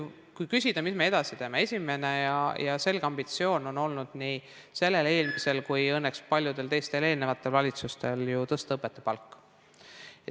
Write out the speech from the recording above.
Kui küsida, mis me edasi teeme, siis esimene ja selge ambitsioon on nii sellel, eelmisel kui õnneks ka paljudel teistel eelnevatel valitsustel olnud ju tõsta õpetajate palka.